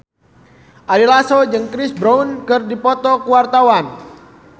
Ari Lasso jeung Chris Brown keur dipoto ku wartawan